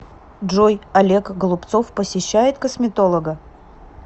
джой олег голубцов посещает косметолога